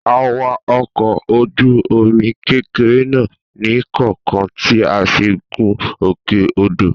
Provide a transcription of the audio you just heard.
A wa ọkọ̀ ojú omi kékeré náà ní kọọkan tí a fi gún òkè odò